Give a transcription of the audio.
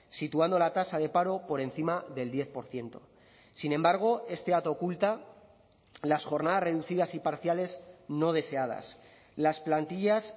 situando la tasa de paro por encima del diez por ciento sin embargo este dato oculta las jornadas reducidas y parciales no deseadas las plantillas